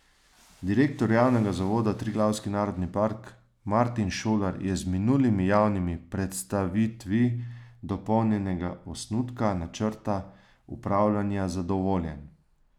Direktor javnega zavoda Triglavski narodni park Martin Šolar je z minulimi javnimi predstavitvi dopolnjenega osnutka načrta upravljanja zadovoljen.